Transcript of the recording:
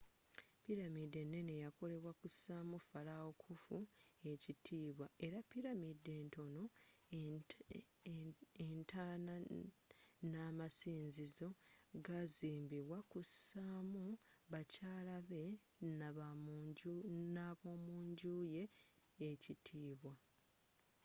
pilamidi enene yakolebwa kusa mu falawo khufu ekitibwa era pilamidi entonotono entaana n'amasinzizo gazimbibwa kusamu bakyala be n'abomunjju ye ekitibwa